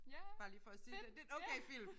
Ja fedt ja